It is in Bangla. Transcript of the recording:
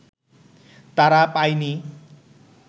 তারা পায়নি